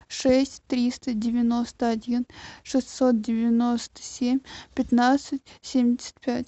шесть триста девяносто один шестьсот девяносто семь пятнадцать семьдесят пять